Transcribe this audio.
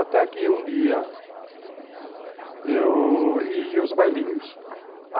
Até que um dia... Eu ia aos bailinhos.